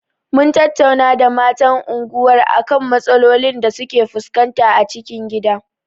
Mun tattauna da matan unguwar a kan matsalolin da suke fuskanta a cikin gida.